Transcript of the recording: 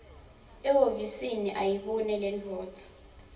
ehhovisi ayibone lendvodza